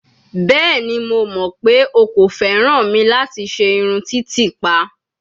Bẹẹni, Mo mọ pe o ko fẹran mi lati ṣe irun titipa